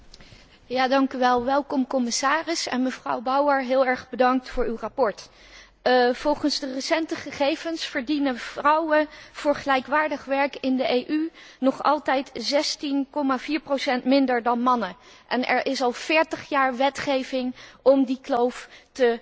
Welkom commissaris, en mevrouw Bauer heel erg bedankt voor uw verslag. Volgens de recente gegevens verdienen vrouwen voor gelijkwaardig werk in de EU nog altijd 16,4 minder dan mannen, en er is al 40 jaar wetgeving om die kloof te verkleinen.